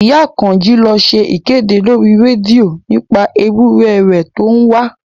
Ìyá Àkànjí ló ṣe ìkéde lórí rédíò nípa ewúrẹ̀ rẹ̀ tó ń wá